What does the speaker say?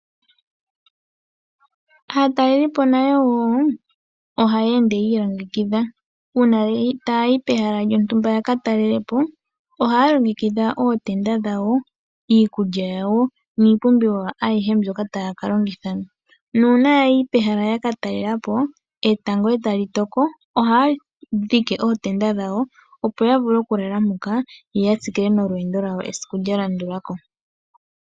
Aatalelipo nayo woo ohaya ende yi ilongekidha uuna taya yi pehala lyontumba yaka talelepo ohaya longekidha ootenda dhawo, iikulya yawo niipumbiwa ayihe mboka taya ka longitha. Nuuna ya yi pehala yaka talelapo etango eta li toko ohaya dhike ootenda dhawo opo ya vule okulala moka yo ya tsikile nolweendo lwawo lwa landulako.